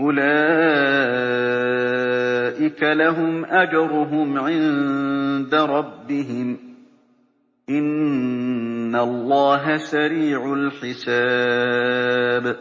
أُولَٰئِكَ لَهُمْ أَجْرُهُمْ عِندَ رَبِّهِمْ ۗ إِنَّ اللَّهَ سَرِيعُ الْحِسَابِ